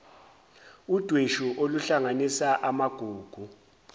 udweshu oluhlanganisa amagugu